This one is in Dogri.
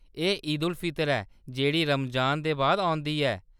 एह्‌‌ ईद-उल-फितर ऐ, जेह्‌‌ड़ी रमजान दे बाद औंदी ऐ।